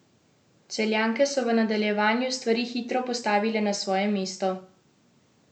Celjanke so v nadaljevanju stvari hitro postavile na svoje mesto.